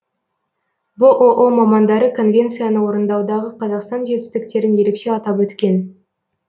бұұ мамандары конвенцияны орындаудағы қазақстан жетістіктерін ерекше атап өткен